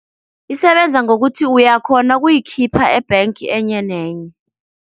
Isebenza ngokuthi uyakhona ukuyikhipha e-bank enye nenye.